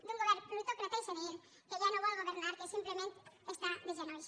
d’un govern plutòcrata i senil que ja no vol governar que simplement està de genolls